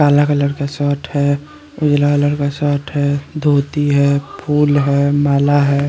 काला कलर का शर्ट है नीला कलर का शर्ट है धोती है फूल है माला है।